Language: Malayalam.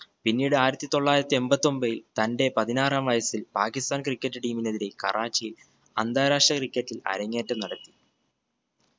പിന്നീട് ആയിരത്തി തൊള്ളായിരത്തി എമ്പത്തൊമ്പതിൽ തന്റെ പതിനാറാം വയസ്സിൽ പാക്കിസ്ഥാൻ cricket team നെതിരെ കറാച്ചിയിൽ അന്തരാഷ്ട്ര cricket ഇൽ അരങ്ങേറ്റം നടത്തി